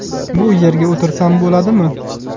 Bu yerga o‘tirsam bo‘ladimi?”.